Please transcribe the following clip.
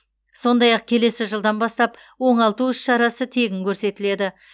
сондай ақ келесі жылдан бастап оңалту іс шарасы тегін көрсетіледі